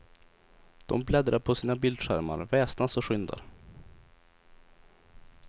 De bläddrar på sina bildskärmar, väsnas och skyndar.